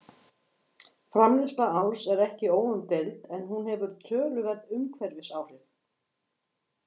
Framleiðsla áls er ekki óumdeild en hún hefur töluverð umhverfisáhrif.